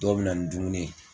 Dɔw bɛ na ni dumuni ye